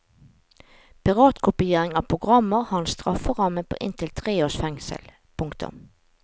Piratkopiering av programmer har en strafferamme på inntil tre års fengsel. punktum